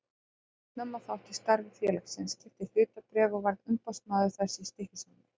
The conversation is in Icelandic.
Ég tók snemma þátt í starfi félagsins, keypti hlutabréf og varð umboðsmaður þess í Stykkishólmi.